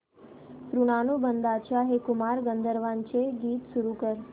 ऋणानुबंधाच्या हे कुमार गंधर्वांचे गीत सुरू कर